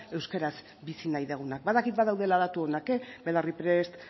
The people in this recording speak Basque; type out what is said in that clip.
euskaraz bizi nahi dugunak badakit badaudela datu onak belarriprest